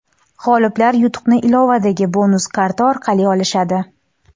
G‘oliblar yutuqni ilovadagi bonus karta orqali olishadi.